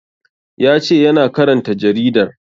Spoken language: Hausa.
Ya ce yana karanta jaridar